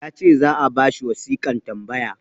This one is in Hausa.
ya ce za a ba shi wasiƙan tambaya